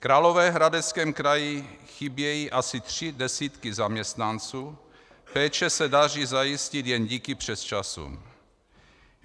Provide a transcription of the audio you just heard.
V Královéhradeckém kraji chybějí asi tři desítky zaměstnanců, péče se daří zajistit jen díky přesčasům.